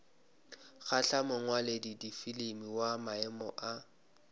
kgahla mongwaladifilimi wa maemo a